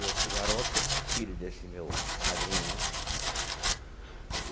E esse garoto, filho desse meu padrinho, né?